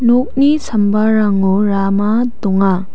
nokni sambarango rama donga.